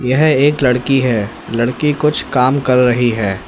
यह एक लड़की है लड़की कुछ काम कर रही है।